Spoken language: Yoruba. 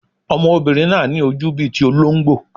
Ọmọbìnrin náà ní ojú bíi ti olóńgbò.